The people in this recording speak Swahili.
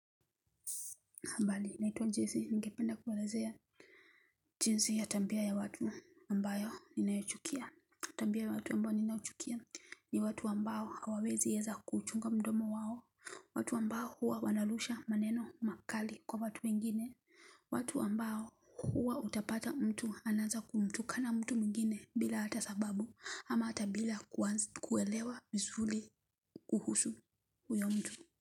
Habari naitwa Jese ningependa kuelezea jinsi ya tabia ya watu ambayo ninayochukia, tabia ya watu ambayo ninayochukia, ni watu ambayo hawawezi weza kuchunga mdomo wao, watu ambao huwa wanarusha maneno makali kwa watu wengine watu ambao huwa utapata mtu anaaza kumtukana mtu mingine bila hata sababu, ama hata bila kuelewa vizuri kuhusu huyo mtu.